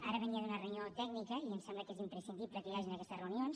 ara venia d’una reunió tècnica i em sembla que és imprescindible que hi hagi aquestes reunions